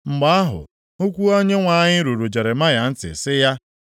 Mgbe ahụ, okwu Onyenwe anyị ruru Jeremaya ntị sị ya